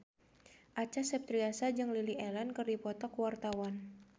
Acha Septriasa jeung Lily Allen keur dipoto ku wartawan